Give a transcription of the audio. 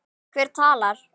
Hver talar?